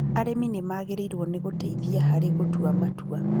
Arĩmi nĩmagĩrĩirwo nĩ gũteithia harĩ gũtua matua